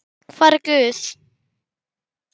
hvar er Guð?